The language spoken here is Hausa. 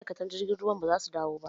Ma'aikatan jirgin ruwan ba zasu dawo ba